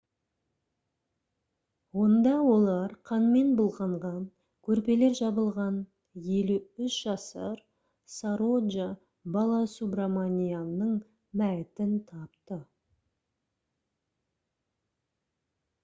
онда олар қанмен былғанған көрпелер жабылған 53 жасар сароджа баласубраманианның мәйітін тапты